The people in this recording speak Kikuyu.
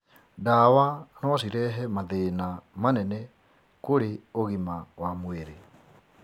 Ndawa no cirehe mathĩna manene kũrĩ ũgima wa mwĩrĩ.